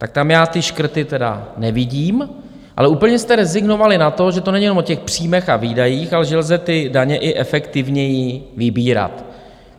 Tak tam já ty škrty tedy nevidím, ale úplně jste rezignovali na to, že to není jenom o těch příjmech a výdajích, ale že lze ty daně i efektivněji vybírat.